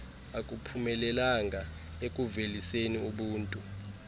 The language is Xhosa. akuphumelelanga ekuuveliseni ubuntu